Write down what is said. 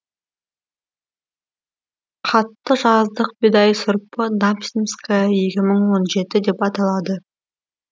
қатты жаздық бидай сұрпы дамсинская екі мың он жеті деп аталады